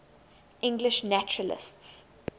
english naturalists